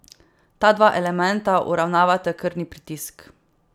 Ta dva elementa uravnavata krvni pritisk.